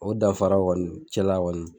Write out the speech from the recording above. O dafara kɔni cɛla kɔni .